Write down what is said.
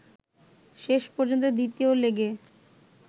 শেষ পর্যন্ত দ্বিতীয় লেগে